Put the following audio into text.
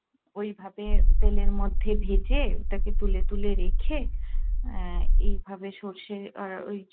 ওই ভাবে তেলের মধ্যে ভেজে ওটাকে তুলে তুলে রেখে আহ এভাবে সর্ষে আর ওই